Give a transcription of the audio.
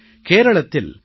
கேரளத்தில் பி